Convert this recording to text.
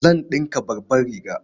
Zan ɗinka babbar riga.